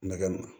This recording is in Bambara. Nɛgɛ